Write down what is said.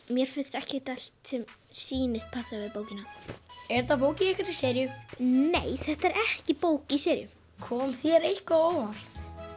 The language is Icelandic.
mér finnst ekkert allt sem sýnist passa við bókina er þetta bók í einhverri seríu nei þetta er ekki bók í seríu kom þér eitthvað á óvart